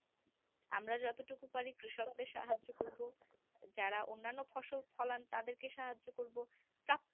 আমরা যতটুকু পারি কৃষকদের সাহায্য করবো যারা অন্যান্য ফসল ফলান তাদেরকে সাহায্য করব